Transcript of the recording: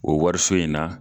O wariso in na